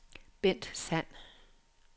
Bent Sand